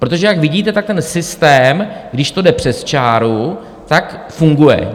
Protože jak vidíte, tak ten systém, když to jde přes čáru, tak funguje.